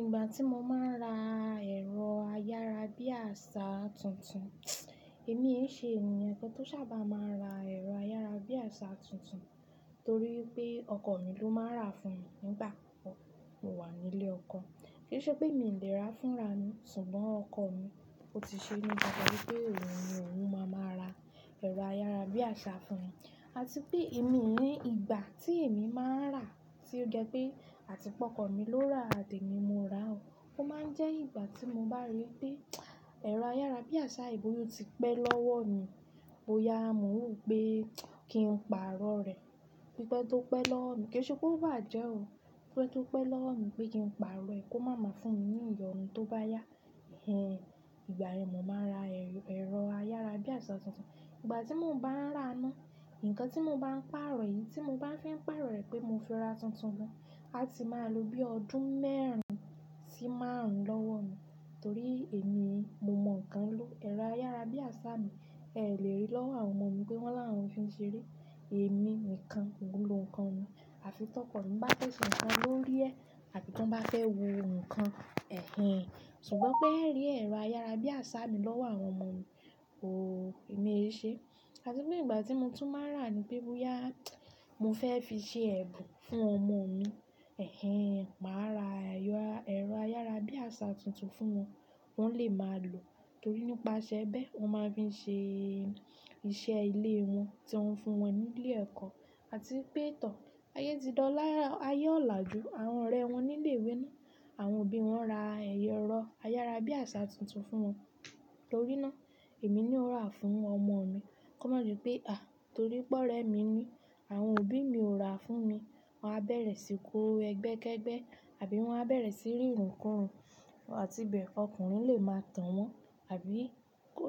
Ìgbà tí mo máa ń ra ẹ̀rọ ayárabíàṣá tuntun, èmi ẹ ṣe ènìyàn kàn tó ṣábà máa ń ra ẹ̀rọ ayárabíàṣá tuntun torí pé ọkọ mi ló máa ń rà fún mi nígbà kọ́kọ́, mo wà nílé ọkọ. Kíì ṣe pé mi ò lè rà fúnra mi, ṣùgbọ́n ọkọ mi ó ti ṣe ní dandan wípé òun ní òun máa máa ra ẹ̀rọ ayárabíàṣá fún mi. Àti pé èmi o ní ìgbà tí èmi máa ń rà tí ó jẹ́ pé àti pé ọkọ mi ló rà àtí èmi mọ rà ó, ó máa ń jẹ́ ìgbà tí mo bá rí pé ẹ̀rọ ayárabíàṣá gán ó ti pẹ́ lọ́wọ́ mi, bóyá mò ń rò pé kí n parọ́ rẹ̀. Pípẹ́ tó pẹ́ lọ́wọ́ mi, kíì ṣe pé ó bàjẹ́ o. Pípẹ́ tó pẹ́ lọ́wọ́ mi pé kí n parọ́ rẹ̀ kó má má fún mi ní ìyọnu tó bá yá. Ẹ̀hẹ̀n, ìgbà yẹn mọ máa ra ẹ̀rọ ayárabíàṣá tuntun. Ìgbà tí mò ń bá rà ná, nǹkan tí mo bá ń parọ́ yìí tí mọ bá fi ń parọ́ rẹ̀ pé mo fi ra tuntun ni, a ti máa lọ bí ọdún mẹ́rin sí márùn lọ́wọ́ mi. Torí èmi, mo mọ nǹkan ló, ẹ̀rọ ayárabíàṣá mi, ẹ lè rí lọ́wọ́ àwọn ọmọ mi pé wọ́n làwọn fi ń ṣeré. Èmi nìkàn mọ lọ nǹkan mi. Àfi tọ́kọ mi bá fẹ́ ṣe nǹkan lórí ẹ́ àti tí wọ́n bá fẹ́ wo nǹkan, ẹ̀hẹ̀n. Ṣùgbọ́n pé ẹ̀ rí ẹ̀rọ ayárabíàṣá mi lọ́wọ́ àwọn ọmọ mi, òó, èmi ẹ ṣe. Àti pé ìgbà tí mo tún máa ń rà ni pé bóyá mò fẹ́ fi ṣe ẹ̀bùn fún ọmọ mi, ẹ̀hẹ̀n, màá ra ẹ̀rọ ayárabíàṣá tuntun fún wọn, wọ́n lè máa lò. Torí nípasẹ̀ bẹ́ẹ̀, wọ́n máa fi ṣe iṣẹ́ ilé wọn tí wọ́n fún wọn nílé ẹ̀kọ́. Àti pé tọ̀, ayé ti dọ̀, ayé ọ̀laju àwọn ọ̀rẹ́ wọn nílé ìwé náà. Àwọn òbí wọn ra ẹ̀rọ ayárabíàṣá tuntun fún wọn. Torí náà, èmi ni ó rà fún ọmọ mi. Kó má di pé, à, torí pé ọ́rẹ́ mi ni àwọn òbí mi ò rà fún mi, wọ́n á bẹ̀rẹ̀ síí kó ẹgbẹ́kẹ́gbẹ́ àbí wọ́n á bẹ̀rẹ̀ síí rírìn kúrin àti bẹ́ẹ̀ ọkùnrin lè máa tàn wọ́n àbí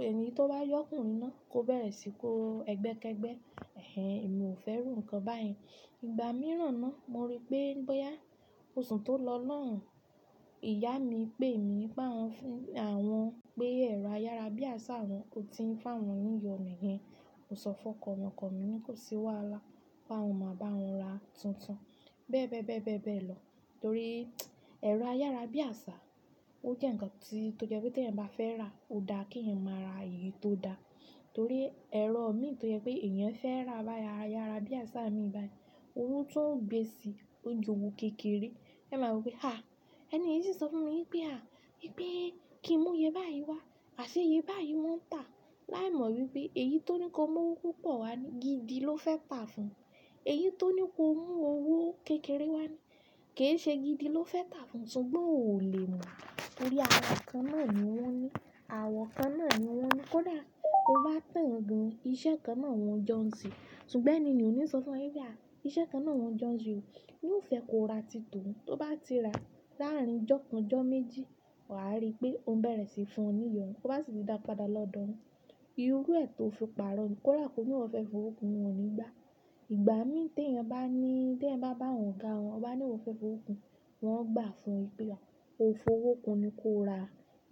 ẹni tó bá jọkùnrin náà kó bẹ̀rẹ̀ síí kó ẹgbẹ́kẹ́gbẹ́. Ẹ̀hẹ̀n, èmi ò fẹ́ rù nǹkan báyìí. Ìgbà mìíràn náà mo rí pé bóyá oṣù tó lọ lọ́hùn, ìyá mi pè mí pé àwọn pé ẹ̀rọ ayárabíàṣá wọn ò tí ń fáwọn ní ìyọnu hẹn. Mo sọ fún ọkọ mi, ọkọ mí ní kò sí wàhálà, páwọn máa bá wọn rà á tuntun. Bẹ́ẹ̀ bẹ́ẹ̀ bẹ́ẹ̀ bẹ́ẹ̀ lọ. Torí ẹ̀rọ ayárabíàṣá, ó jẹ́ nǹkan tí tó jẹ́ pé tí ẹ̀yán bá fẹ́ rà ó dá kí ẹ̀yán máa ra èyí tó da. Torí ẹ̀rọ mi tó jẹ́ pé èèyàn fẹ́ rà báyìí ayára bí àṣá mi báyìí, owó tó o gbé sí i ó ju òwò kékeré. Ẹ máa ro pé à, ẹni yí sì sọ fún mi pé à, pé kí n mú eiye báyìí wá, àṣé eiye báyìí n wọ́n tà á. Láì mọ wípé èyí tó ní ko mú owó púpọ̀ wá ni gidi ló fẹ́ tà á fún. Èyí tó ní ko mú owó kékeré wá ni kéè ṣe gidi ló fẹ́ tà á fún o, ṣùgbọ́n ò lè mọ̀. Torí àwọ̀ kan náà ni wọ́n ní, àwọ̀ kan náà ni wọ́n ní kó dàá, kó bá tàn gan. Iṣẹ́ kan náà wọ́n jọ́ ń sè. Ṣùgbọ́n ẹni ni òní sọ fún o pé à, iṣẹ́ kan náà wọ́n jọ́ ń sè ó. Yìí ò fẹ́ ko rà tí tohun. Tó bá ti rà láàrin ijó kan, ijó méjì, wà á rí pé ó n bẹ̀rẹ̀ sí í fún ọ ní ìyọnu. Tó bá sì fi dá padà lọ́dọ̀ ọ. Irú ẹ̀ tó fi parọ́ n ni kó dàá ko ní ìwọ fẹ́ fi owó kun wọn nígbà. Ìgbà mí tí ẹ̀yin bá ní-- tí ẹ̀yin bá bá àwọn ọ̀gá wọ́n ó bá ní ìwọ fẹ́ fowó kun, wọ́n ó gbà fún o wí pé ko fowókun ni kó o rà.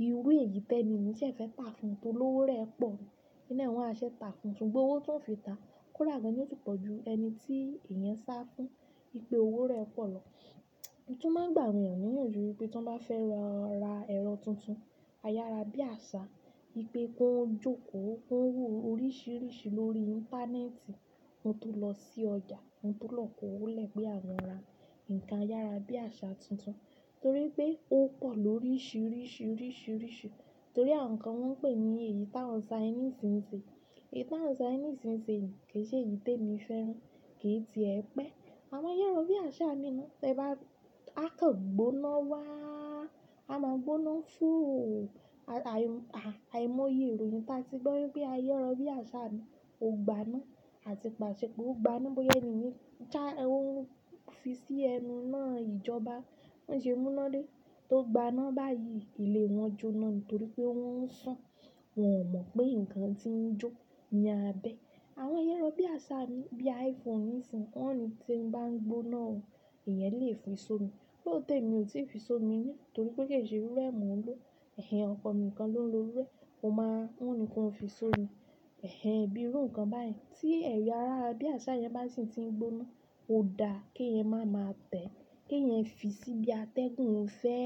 Irú èyí tẹ́ni ni hun ṣé ẹ fẹ́ tà á fún o tó lówó rẹ pọ̀ ni. N ná wọn a ṣé tà á fún o. Ṣùgbọ́n owó tóo fi tà, kó dàá gan yìí tún pọ̀ ju ẹni tí èèyàn sá fún pé owó rẹ pọ̀ lọ. Mo tún máa n gbà àwan èèyàn ní ìyànjú wípé tí wọ́n bá fẹ́ lo ra ẹ̀rọ tuntun ayára bí àṣá, pé kí wọ́n jókòó, kí wọ́n wò ó oríṣìíríṣìí lórí íńtánẹ́ẹ̀tì, kí wọ́n tó lọ sí ọjà, kí wọ́n tó lọ kó wọlé pé àwọn rà nǹkan ayára bí àṣá tuntun. Torí pé ó pọ̀ lóríṣìíríṣìí, oríṣìíríṣìí. Torí àwọn nǹkan wọ́n ń pè ní èyí tàwọn Chinese n ṣe. Èyí tàwọn Chinese n ṣe yìí kì í ṣe èyí tí èmi fẹ́ràn, kì í ti ẹ pẹ́. Àwọn ayára bí àṣá mi náà tí ẹ bá rí. Á kàn gbóná wáá, a máa gbóná fòò àìmọye ìròyìn tá a ti gbọ́ wípé ayára bí àṣá míìn ò gbaná àti pàṣẹ pé ó gbaná bóyá ẹni yẹn ṣá ó fi sí ẹnu iná a ìjọba wọ́n ṣe mú iná dé. Tó gbaná báyìí ilé wọn jóná nítorí pé wọ́n ń ṣùn, wọ́n ò mọ̀ pé nǹkan tí ń jó ní abẹ́. Àwọn ayára bí àṣá míì, bí iPhone nísinyìí, wọ́n ó ní tí n bá ń gbóná o, èèyàn lè fi sómi. Fóònù tèmi ò tí ì fi sómi rí, torí pé kì í ṣe irú ẹ ni mò ń lò. Ẹ̀hẹ̀n, ọkọ mi nǹkan ló ń lo irú ẹ, ó máa, òun ni kí ó fi sómi. Ẹ̀hẹ̀n, bí irú nǹkan báyìí tí ẹ̀rọ ayára bí àṣá yẹn bá sì ti ń gbóná, ó dá kí ẹ̀yin máa ma tẹ̀ ẹ́, kí ẹ̀yin fi sí bí atẹ́gùn fẹ́.